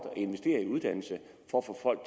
at investere i uddannelse for at få folk